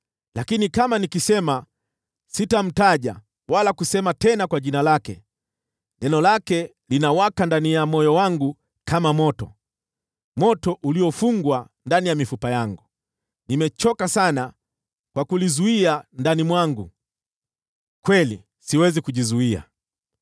Lakini kama nikisema, “Sitamtaja wala kusema tena kwa jina lake,” neno lake linawaka ndani ya moyo wangu kama moto, moto uliofungwa ndani ya mifupa yangu. Nimechoka sana kwa kulizuia ndani mwangu; kweli, siwezi kujizuia.